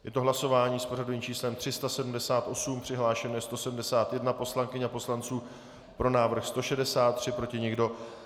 Je to hlasování s pořadovým číslem 378, přihlášeno je 171 poslankyň a poslanců, pro návrh 163, proti nikdo.